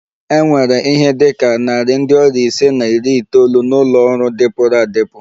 E nwere ihe dị ka narị ndị ọrịa ise na iri itoolu n'ụlọ ọrụ dịpụrụ adịpụ